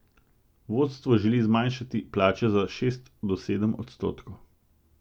Vodstvo želi zmanjšati plače za šest do sedem odstotkov.